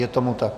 Je tomu tak.